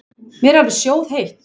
Mér er alveg sjóðheitt.